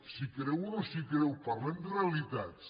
s’hi creu o no s’hi creu parlem de realitats